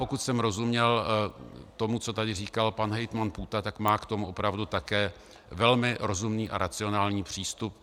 Pokud jsem rozuměl tomu, co tady říkal pan hejtman Půta, tak má k tomu opravdu také velmi rozumný a racionální přístup.